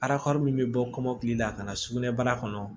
min bɛ bɔ kɔmɔkili la ka na sugunɛbara kɔnɔ